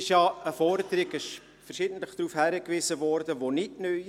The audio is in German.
Wie verschiedentlich darauf hingewiesen wurde, ist diese Forderung nicht neu;